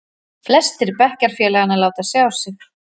Flestir bekkjarfélaganna láta sjá sig.